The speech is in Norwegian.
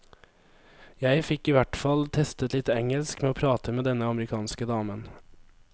Jeg fikk i hvertfall testet litt engelsk med å prate med denne amerikanske damen.